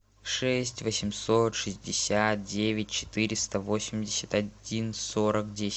шесть восемьсот шестьдесят девять четыреста восемьдесят один сорок десять